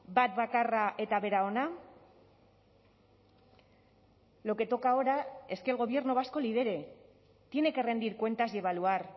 bat bakarra eta bera ona lo que toca ahora es que el gobierno vasco lidere tiene que rendir cuentas y evaluar